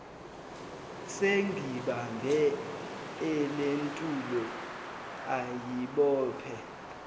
sengibambe elentulo ayibophe